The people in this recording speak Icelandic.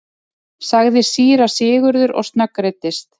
sagði síra Sigurður og snöggreiddist.